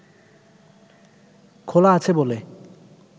খোলা আছে বলে